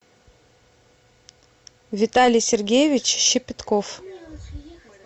виталий сергеевич щепетков